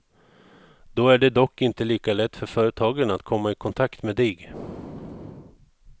Då är det dock inte lika lätt för företagen att komma i kontakt med dig.